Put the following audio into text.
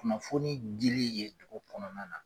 Kunnafoni dili ye cogo kɔnɔna na.